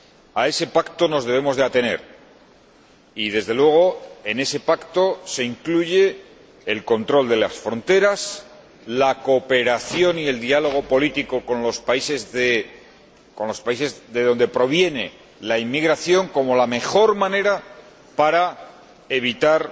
A ese pacto nos debemos atener y, desde luego, en ese pacto se incluyen el control de las fronteras, la cooperación y el diálogo político con los países de donde proviene la inmigración como la mejor manera para evitar